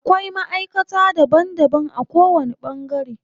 Akwai maʼaikata daban daban a ko wani ɓangare.